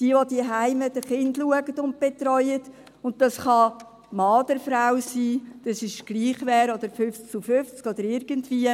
– Diejenigen, die zu Hause zu den Kindern schauen und sie betreuen, und dies kann Mann oder Frau sein, das ist egal wer, oder 50 zu 50 oder irgendwie.